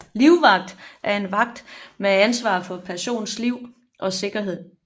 Livvagt er en vagt med ansvar for en persons liv og sikkerhed